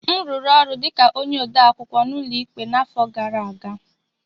M rụrụ ọrụ dị ka onye odeakwụkwọ n'ụlọ ikpe n'afọ gara aga